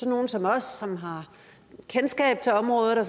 nogle som os som har kendskab til området og